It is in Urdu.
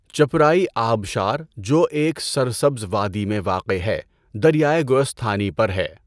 چپرائی آبشار، جو ایک سرسبز وادی میں واقع ہے، دریائے گوستھانی پر ہے۔